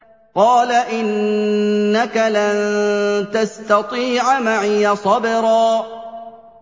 قَالَ إِنَّكَ لَن تَسْتَطِيعَ مَعِيَ صَبْرًا